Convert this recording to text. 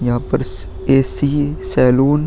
यहाँ पर स ए.सी. सैलून --